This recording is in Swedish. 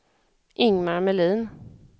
Ingmar Melin